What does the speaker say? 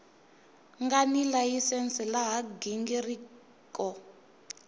nga ni layisense laha nghingiriko